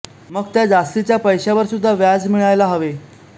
मग त्या जास्तीच्या पैशांवर सुद्धा व्याज मिळायला हवे